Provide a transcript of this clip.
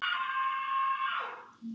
Sem er alveg magnað.